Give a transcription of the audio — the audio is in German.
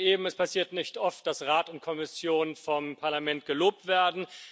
Sie sagten eben, es passiert nicht oft, dass Rat und Kommission vom Parlament gelobt werden.